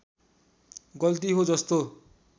गल्ती हो जस्तो